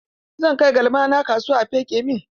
Zan kai galmana kasuwa a feƙe min